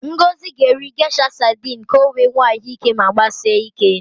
Ngozi ga-eri Gesha sadịn ka o wee nwee ahụ ike ma gbasie ike.